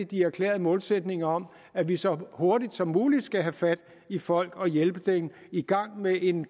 de erklærede målsætninger om at vi så hurtigt som muligt skal have fat i folk og hjælpe dem i gang med en